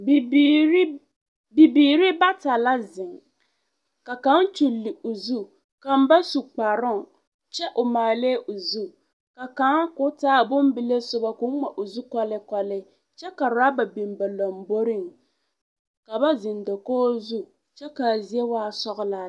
Bibiiri bata la zeŋ ka kaŋ kyuli o zu kaŋa ba su kparoŋ kyɛ o maalɛɛ o zu ka kaŋa k'o taa a bombile soba k'o ŋma o zu kɔleekɔlee kyɛ ka raba biŋ ba lomboriŋ ka ba zeŋ dakogiri zu kyɛ ka a zie waa sɔgelaa lɛ.